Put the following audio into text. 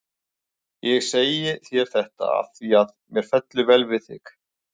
Ég segi þér þetta af því, að mér fellur vel við þig.